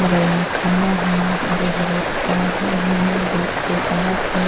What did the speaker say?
बगल मै खंबा है हरे हरे पौधे हैं बीच से सड़क है।